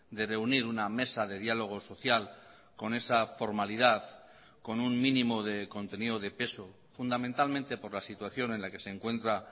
de reunir una mesa de diálogo social con esa formalidad con un mínimo de contenido de peso fundamentalmente por la situación en la que se encuentra